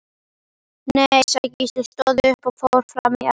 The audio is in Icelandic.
Nei, sagði Gísli, stóð upp og fór fram í eldhús.